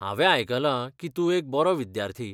हांवें आयकलां की तूं एक बरो विद्यार्थी.